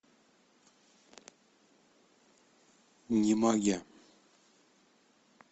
немагия